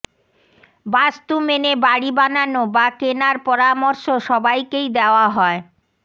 বাস্তু মেনে বাড়ি বানানো বা কেনার পরামর্শ সবাইকেই দেওয়া হয়